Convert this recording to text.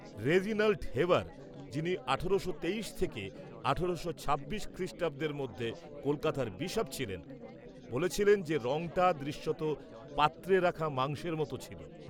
-Reginald Heber, যিনি আঠারোশো তেইশ থেকে আঠারো ছিয়াশি খ্রিষ্টাব্দের মধ্যে কলকাতার বিশপ ছিলেন, বলেছিলেন যে রঙটা দৃশ্যত পাত্রে রাখা মাংসের মতো ছিল।